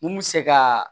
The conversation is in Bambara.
Mun bɛ se ka